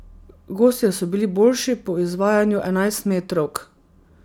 Gostje so bili boljši po izvajanju enajstmetrovk.